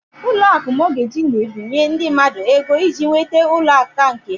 Ụlọakụ Mọgeji na-ebinye ndị mmadụ ego iji nweta ụlọ nke áká ha.